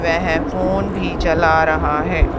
वह फोन भी चला रहा है।